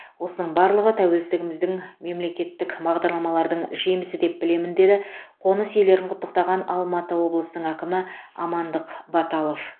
осының барлығы тәуелсіздігіміздің мемлекеттік бағдарламалардың жемісі деп білемін деді қоныс иелерін құттықтаған алматы облысының әкімі амандық баталов